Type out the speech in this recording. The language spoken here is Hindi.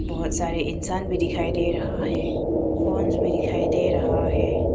बहुत सारे इंसान भी दिखाई दे रहा है भी दिखाई दे रहा है।